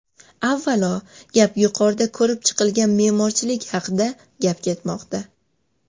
Avvalo, gap yuqorida ko‘rib chiqilgan me’morchilik haqida gap ketmoqda.